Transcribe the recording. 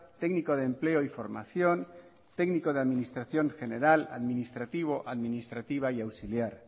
técnico de empleo y formación técnico de administración general administrativo administrativa y auxiliar